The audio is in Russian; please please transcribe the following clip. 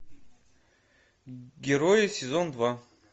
герои сезон два